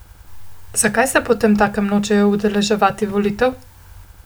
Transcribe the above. Zakaj se potemtakem nočejo udeleževati referendumov in volitev?